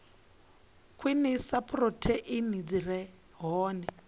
khwinisa phurotheini dzi re hone